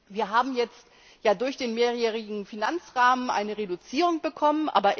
Wir haben jetzt durch den mehrjährigen Finanzrahmen eine Reduzierung bekommen.